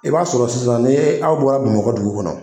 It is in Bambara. I b'a sɔrɔ sisan ne aw bɔra bamakɔ dugu kɔnɔ.